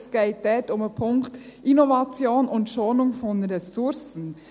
Es geht dort um den Punkt «Innovation und Schonung von Ressourcen».